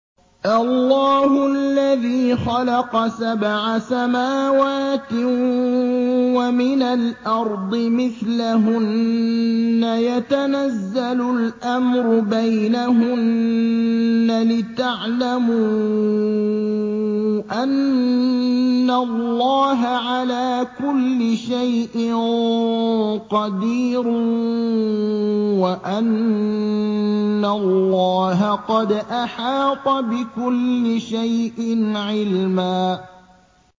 اللَّهُ الَّذِي خَلَقَ سَبْعَ سَمَاوَاتٍ وَمِنَ الْأَرْضِ مِثْلَهُنَّ يَتَنَزَّلُ الْأَمْرُ بَيْنَهُنَّ لِتَعْلَمُوا أَنَّ اللَّهَ عَلَىٰ كُلِّ شَيْءٍ قَدِيرٌ وَأَنَّ اللَّهَ قَدْ أَحَاطَ بِكُلِّ شَيْءٍ عِلْمًا